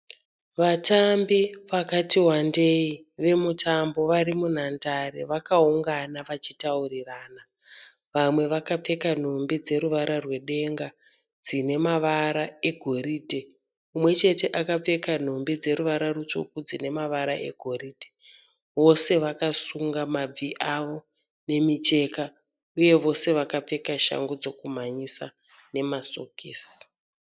Vatambi vakati wandei vemutambo vari munhandare vakaungana vachitaurirana. Vamwe vakapfeka nhumbi dzeruvara rwedenga dzine mavara egoridhe. Umwe chete akapfeka nhumbi dzine ruvara rutsvuku nemavara egoridhe. Vose vakasunga mabvi avo nemicheka uye vose vakapfeka shangu dzekumhanyisa nemasokisi.